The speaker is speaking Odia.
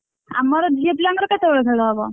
ଆମର ଝିଅ ପିଲାଙ୍କର କେତେବେଳେ ଖେଳ ହବ?